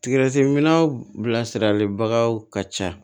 Tigɛsɛminɛw bilasiralibagaw ka ca